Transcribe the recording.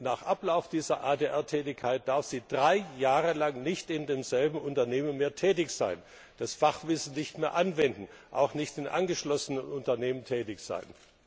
Denn nach Ablauf dieser ADR Tätigkeit darf sie drei Jahre nicht mehr in demselben Unternehmen tätig sein, das Fachwissen nicht mehr anwenden, auch nicht in angeschlossenen Unternehmen tätig sein.